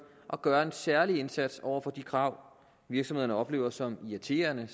og gøre en særlig indsats over for de krav virksomhederne oplever som irriterende